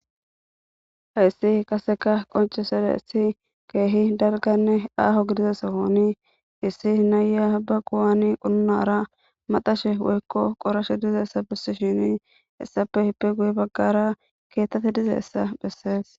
heyssi qaseka qoncesedayssi keehi dalganne aaho gidiza sohoni issi nayiya ba quwaani qununara maxashe woykko qorashe dizayssa bissishini hessape ippe guye baggara keettati dizayssa bessees.